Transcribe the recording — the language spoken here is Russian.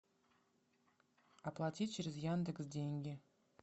оплатить через яндекс деньги